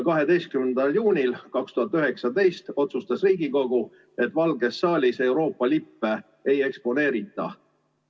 12. juunil 2019 otsustas Riigikogu, et Valges saalis Euroopa lippe ei eksponeerita.